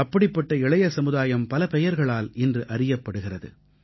அப்படிப்பட்ட இளைய சமுதாயம் பல பெயர்களால் இன்று அறியப்படுகிறது